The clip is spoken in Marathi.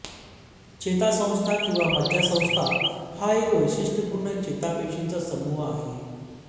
चेतासंस्था किंवा मज्जासंस्था हा एक वैशिष्ट्यपूर्ण चेतापेशींचा समूह आहे